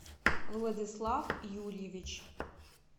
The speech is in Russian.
владислав юрьевич